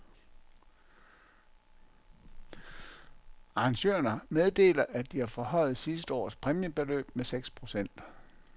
Arrangørerne meddeler, at de har forhøjet sidste års præmiebeløb med seks procent.